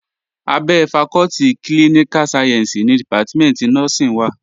Abẹ́ fakọ́tì klíníká sayẹ̀nsì ni dìpátímẹ̀ntì nọ́ọ́sìn wà